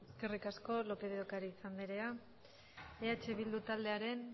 eskerrik asko lópez de ocariz andrea eh bildu taldearen